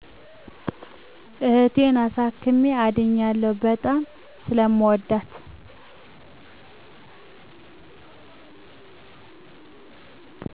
እህቴን አሳክሜ አድኛለሁ። በጣም ስለምወዳት